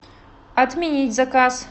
отменить заказ